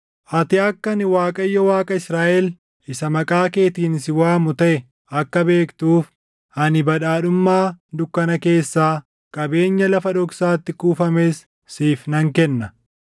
Ati akka ani Waaqayyo Waaqa Israaʼel isa maqaa keetiin si waamu taʼe akka beektuuf, ani badhaadhummaa dukkana keessaa, qabeenya lafa dhoksaatti kuufames siif nan kenna.